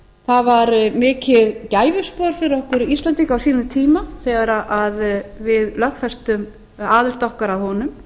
það var mikið gæfuspor fyrir okkur íslendinga á sínum tíma þegar við lögfestum aðild okkar að honum